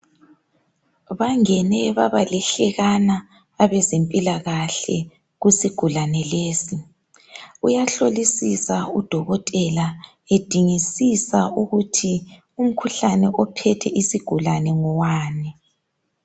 bangene babalihlekana abezempilakahle kusigulane lesi uyahlolisisa udokotela edingisisa ukuthi umkhuhlane ophethe isigulane ngowani